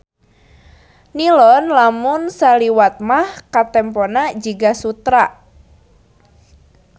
Nilon lamun saliwat mah katempona jiga sutra.